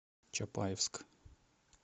чапаевск